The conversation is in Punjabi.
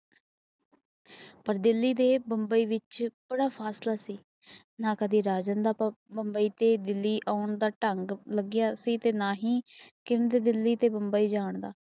ਪਰ ਦਿੱਲੀ ਤੇ ਮੁਬੰਈ ਵਿੱਚ ਬੜਾ ਫ਼ਾਸਲਾ ਸੀ ਨਾ ਕਦੇ ਰਾਜਾਨ ਦਾ ਮੁਬੰਈ ਤੇ ਦਿਲੀ ਅਉਣ ਦਾ ਠੱਗ ਲੱਗੀਆਂ ਸੀ ਤੇ ਨਾ ਹੀ ਕਿੰਗ ਦਿੱਲੀ ਤੇ ਮੁਬੰਈ ਜਾਣਦਾ